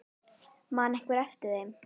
Man einhver eftir þeim?